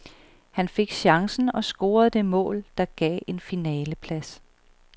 Han fik chancen og scorede det mål, der gav en finaleplads.